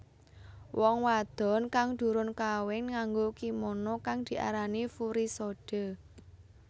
Wong wadon kang durung kawin nganggo kimono kang diarani furisode